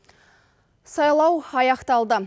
сайлау аяқталды